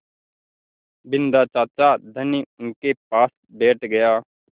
बिन्दा चाचा धनी उनके पास बैठ गया